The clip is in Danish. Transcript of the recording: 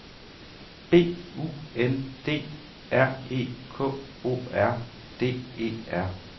B U N D R E K O R D E R